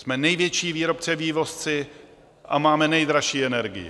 Jsme největší výrobce a vývozci a máme nejdražší energii.